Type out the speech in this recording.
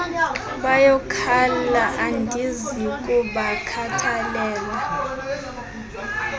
bayakhala andizi kubakhathalela